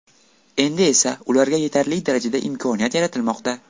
Endi esa ularga yetarli darajada imkoniyat yaratilmoqda.